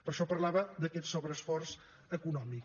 per això parlava d’aquest sobreesforç econòmic